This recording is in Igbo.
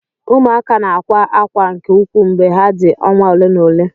Ụmụaka na akwa ákwá nke ukwuu mgbe ha dị ọnwa ole na ole.